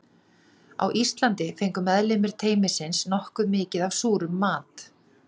Á Íslandi fengu meðlimir teymisins nokkuð mikið af súrum mat.